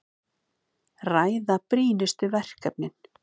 Ræða brýnustu verkefnin